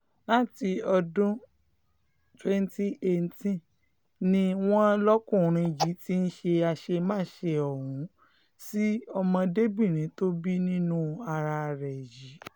láti ọdún twenty eighteen ni wọ́n lọ́kùnrin yìí ti ń ṣe àṣemáṣe ọ̀hún sí ọmọdébìnrin tó bí nínú ara ẹ̀ yìí